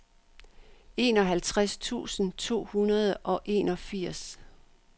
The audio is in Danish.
enoghalvtreds tusind to hundrede og enogfirs